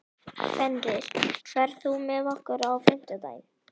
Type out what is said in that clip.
Fenrir, ferð þú með okkur á fimmtudaginn?